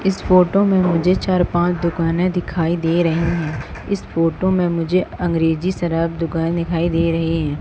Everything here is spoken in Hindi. इस फोटो मे मुझे चार पांच दुकाने दिखाई दे रहे हैं इस फोटो मे मुझे अंग्रेजी शराब दुकान दिखाई दे रही है।